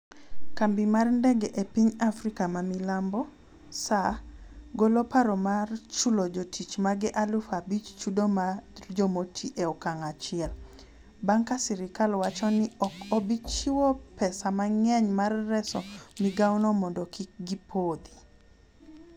Kambi mar ndege e piny Afrika ma milambo, SAA, golo paro mar chulo jotich mage aluf abich chudo mag jomoti e okang' achiel, bang' ka sirikal wacho ni ok obi chiwo pesa mang'eny mar reso migaono mondo kik gipothi.